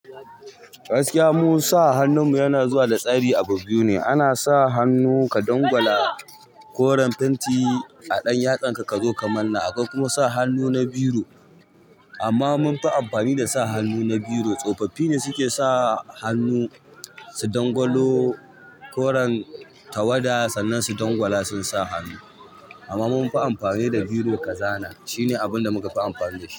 Gaskiya mun sa hannun mu yana zuwa da tsari a bu biyu ne. Ana sa hannu ka dangwala koren fenti a ɗan yatsan ka kazo ka manne. Akwai kuma sa hannu na biro. Amma mun fi amfani da sa hannu na biro. Tsofaffi ne suke sa hannu su dangwalo koren tawada sannan su dangwala su susa hannu. Amma mun fi amfani da biro ka zana. Shine abun da muka fi amfani dashi.